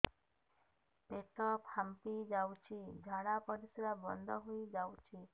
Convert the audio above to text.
ପେଟ ଫାମ୍ପି ଯାଉଛି ଝାଡା ପରିଶ୍ରା ବନ୍ଦ ହେଇ ଯାଉଛି